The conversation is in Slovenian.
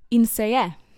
In se je!